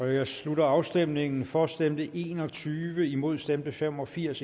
jeg slutter afstemningen for stemte en og tyve imod stemte fem og firs